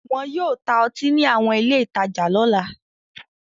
Wọn yóò ta ọtí ní àwọn ilé-ìtajà lọ́la.